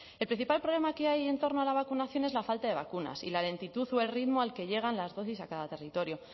el principal problema que hay en torno a la vacunación es la falta de vacunas y la lentitud o el ritmo al que llegan las dosis a cada territorio